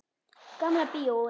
Gamla bíói.